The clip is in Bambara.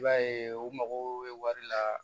I b'a ye u mago bɛ wari la